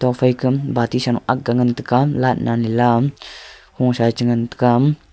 nokfai kam bati sa akga ngan taiga laght nanla kho sae chengan taiga.